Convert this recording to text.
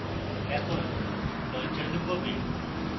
এখন launcher লুকোবে